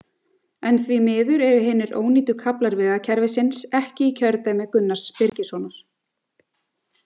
En því miður eru hinir ónýtu kaflar vegakerfisins ekki í kjördæmi Gunnars Birgissonar.